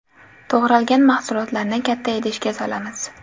To‘g‘ralgan mahsulotlarni katta idishga solamiz.